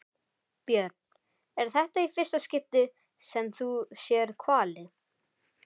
Björn: Er þetta í fyrsta skipti sem þú sérð hvali?